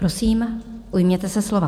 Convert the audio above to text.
Prosím, ujměte se slova.